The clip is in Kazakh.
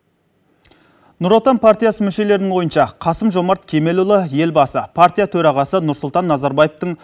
нұр отан партиясы мүшелерінің ойынша қасым жомарт кемелұлы елбасы партия төрағасы нұрсұлтан назарбаевтың